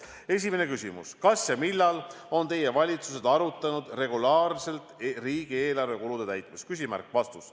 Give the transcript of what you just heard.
Esimene küsimus: "Kas ja millal on Teie valitsused arutanud regulaarselt riigieelarve kulude täitmist?